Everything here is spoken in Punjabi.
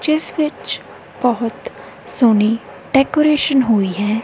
ਜਿੱਸ ਵਿੱਚ ਬੋਹੁਤ ਸੋਹਣੀ ਡੈਕੋਰੇਸ਼ਨ ਹੋਈ ਹੈ।